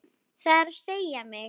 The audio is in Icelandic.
Það er að segja mig.